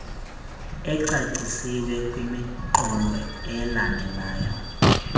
ecacisiweyo kwimiqolo elandelayo